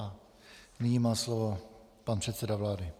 A nyní má slovo pan předseda vlády.